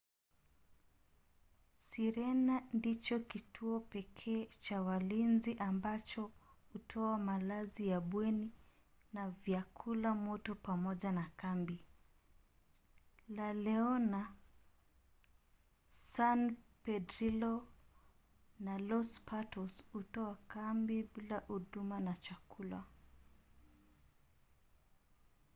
sirena ndicho kituo pekee cha walinzi ambacho hutoa malazi ya bweni na vyakula moto pamoja na kambi. la leona san pedrillo na los patos hutoa kambi bila huduma ya chakula